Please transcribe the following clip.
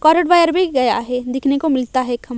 भी गया है दिखने को मिलता है ख--